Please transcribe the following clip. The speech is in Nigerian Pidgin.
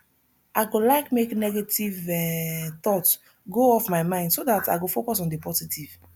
i go like make negative um thoughts go off my mind so dat i go focus on di positive